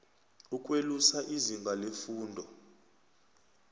ukwelusa izinga lefundo